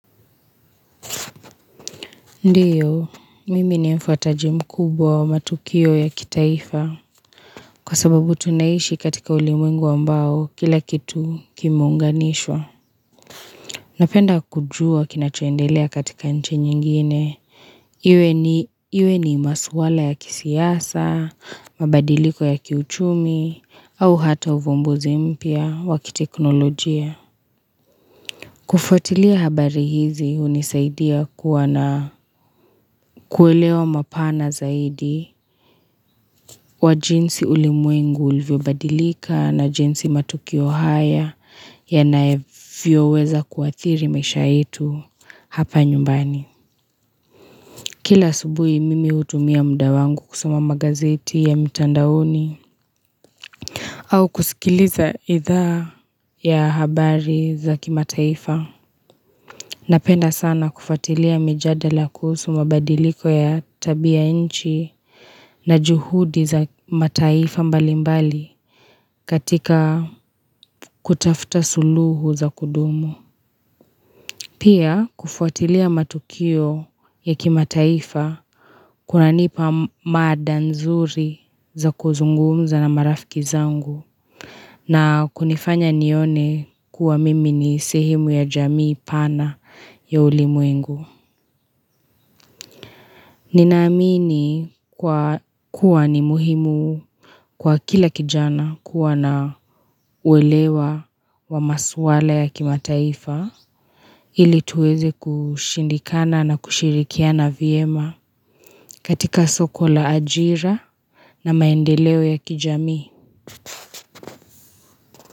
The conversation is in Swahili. Ndiyo, mimi ni mfataji mkubwa wa matukio ya kitaifa Kwa sababu tunaishi katika ulimwengu ambao kila kitu kimeunganishwa Napenda kujua kinachoendelea katika nchi nyingine Iwe ni masuala ya kisiasa, mabadiliko ya kiuchumi au hata uvumbuzi mpya wa kiteknolojia kufatilia habari hizi hunisaidia kuwa na kuelewa mapana zaidi wa jinsi ulimwengu ulvyobadilika na jinsi matukio haya yanavyoweza kuathiri maisha yetu hapa nyumbani. Kila asubuhi mimi hutumia muda wangu kusoma magazeti ya mitandaoni au kusikiliza idhaa ya habari za kimataifa. Napenda sana kufatilia mijadala kuhusu mabadiliko ya tabia nchi na juhudi za mataifa mbalimbali katika kutafuta suluhu za kudumu. Pia kufuatilia matukio ya kimataifa kunanipa mada nzuri za kuzungumza na marafiki zangu na kunifanya nione kuwa mimi ni sehemu ya jamii pana ya ulimwengu. Ninaamini kwa kuwa ni muhimu kwa kila kijana kuwa na uelewa wa masuala ya kimataifa ili tuweze kushindana na kushirikiana vyema katika soko la ajira na maendeleo ya kijamii.